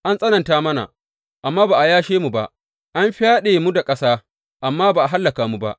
An tsananta mana, amma ba a yashe mu ba, an fyaɗe mu da ƙasa, amma ba a hallaka mu ba.